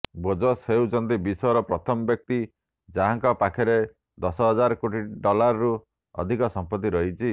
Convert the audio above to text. Bezos ହେଉଛନ୍ତି ବିଶ୍ୱର ପ୍ରଥମ ବ୍ୟକ୍ତି ଯାହାଙ୍କ ପାଖରେ ଦଶ ହଜାର କୋଟି ଡଲାରରୁ ଅଧିକ ସମ୍ପତ୍ତି ରହିଛି